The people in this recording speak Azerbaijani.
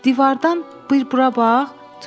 Divardan bircə bura bax.